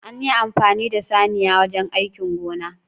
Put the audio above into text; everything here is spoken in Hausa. An yi amfani da saniya wajen aikin gona